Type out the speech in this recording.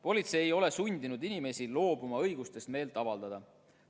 " Politsei ei ole sundinud inimesi loobuma õigusest meelt avaldada.